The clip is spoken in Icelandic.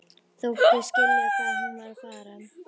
Þóttist skilja hvað hún var að fara.